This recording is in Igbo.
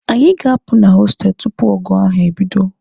Anyị ga-apụ na hostelụ tupu ọgụ ahụ ebido.